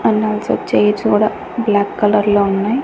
And also chairs కూడా black colour లో ఉన్నాయి.